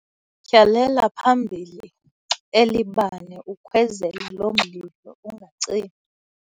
Tyhalela phambili eli bane ukhwezele lo mlilo ungacimi.